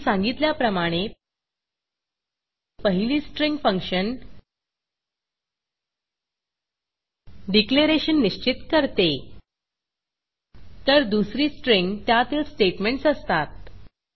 आधी सांगितल्याप्रमाणे पहिली स्ट्रिंग फंक्शन डिक्लरेशन निश्चित करते तर दुसरी स्ट्रिंग त्यातली स्टेटमेंटस असतात